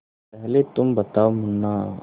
पहले तुम बताओ मुन्ना